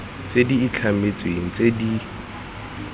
tse di itlhametsweng tse di